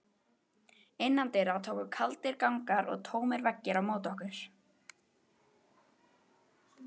Innandyra tóku kaldir gangar og tómir veggir á móti okkur.